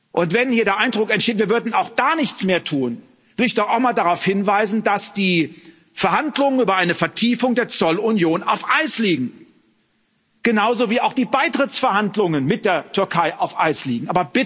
Und wenn hier der Eindruck entsteht, wir würden auch da nichts mehr tun, will ich doch einmal darauf hinweisen, dass die Verhandlungen über eine Vertiefung der Zollunion auf Eis liegen, genauso wie auch die Beitrittsverhandlungen mit der Türkei auf Eis liegen.